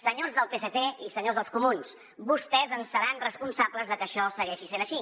senyors del psc i senyors dels comuns vostès en seran responsables de que això segueixi sent així